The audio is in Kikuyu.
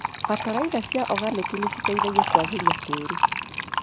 Bataraitha cia oganĩki nĩciteithagia kwagĩria tĩri.